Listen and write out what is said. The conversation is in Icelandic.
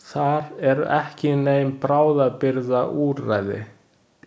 Þar eru ekki nein bráðabirgðaúrræði.